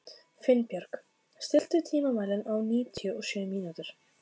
Finnbjörg, stilltu tímamælinn á níutíu og sjö mínútur.